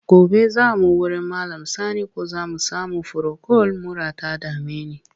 Gobe za mu wurin Malam Sani ko za mu sami furokol, mura ta dame ni.